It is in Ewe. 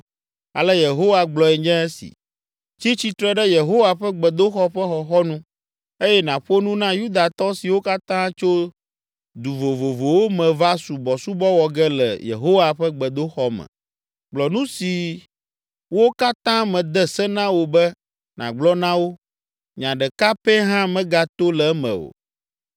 “Ale Yehowa gblɔe nye esi: ‘Tsi tsitre ɖe Yehowa ƒe gbedoxɔ ƒe xɔxɔnu eye nàƒo nu na Yudatɔ siwo katã tso du vovovowo me va subɔsubɔ wɔ ge le Yehowa ƒe gbedoxɔ me. Gblɔ nu siwo katã mede se na wò be nàgblɔ na wo, nya ɖeka pɛ hã megato le eme o.